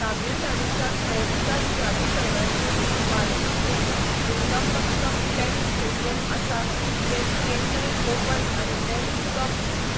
तमिळनाडूच्या खेळ विकास प्राधिकरणाचे मालकीचें नुंगंबक्कम टेनिस स्टेडियम आसा जें चेन्नई ओपन आनी डेव्हिस कप